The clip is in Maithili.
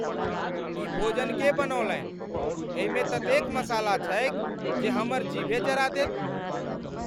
ई भोजन के बनौलनि? एहिमे ततेक मसाला छैक जे हमर जीभे जरा देत ।